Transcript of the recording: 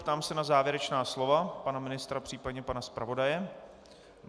Ptám se na závěrečná slova pana ministra, případně pana zpravodaje.